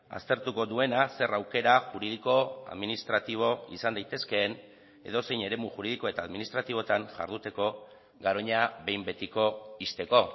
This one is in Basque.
aztertuko duena zer aukera juridiko administratibo izan daitezkeen edozein eremu juridiko eta administratiboetan jarduteko garoña behin betiko ixteko